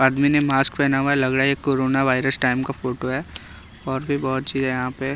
आदमी ने मास्क पहना हुआ है लग रहा है ये कोरोना वायरस टाइम का फोटो है और भी बहुत चीज है।